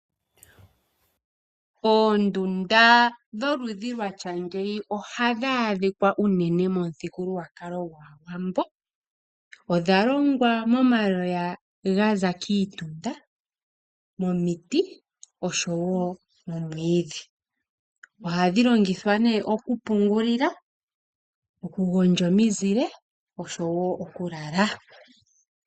Oondunda dholudhi lwatya ngeyi ohadhi adhikwa unene momuthigululwakalo gwaawambo. Odha longwa momaloya gaza kiitunda, momiti oshowo momwiidhi. Ohadhi longithwa nee oku pungulila, oku gondja ominzile oshowo oku lala.